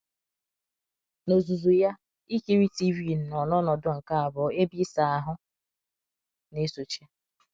N’ozuzu ya, ikiri TV nọ n’ọnọdụ nke abụọ, ebe ịsa ahụ na - esochi.